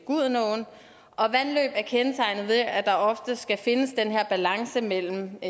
gudenåen vandløb er kendetegnet ved at der ofte skal findes den her balance mellem